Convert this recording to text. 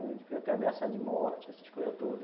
A gente foi até ameaçado de morte, essas coisas todas.